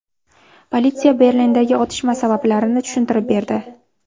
Politsiya Berlindagi otishma sabablarini tushuntirib berdi.